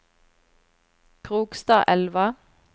Krokstadelva